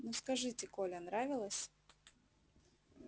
ну скажите коля нравилась